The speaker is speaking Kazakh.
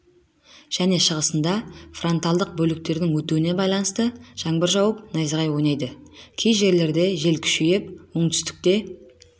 және шығысында фронтальдық бөліктердің өтуіне байланысты жаңбыр жауып найзағай ойнайды кей жерлерде жел күшейіп оңтүстікте